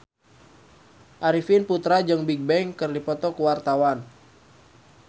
Arifin Putra jeung Bigbang keur dipoto ku wartawan